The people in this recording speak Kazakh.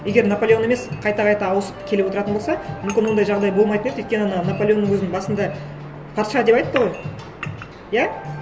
егер наполеон емес қайта қайта ауысып келіп отыратын болса мүмкін ондай жағдай болмайтын еді өйткені ана наполеонның өзін басында патша деп айтты ғой иә